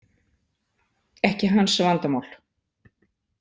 Ekki hans vandamál.